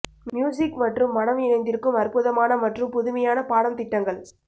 music மற்றும் மடம் இணைந்திருக்கும் அற்புதமான மற்றும் புதுமையான பாடம் திட்டங்கள்